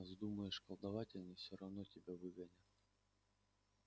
а вздумаешь колдовать они всё равно тебя выгонят